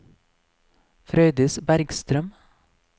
Frøydis Bergstrøm